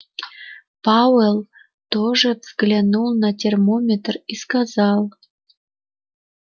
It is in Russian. пауэлл тоже взглянул на термометр и сказал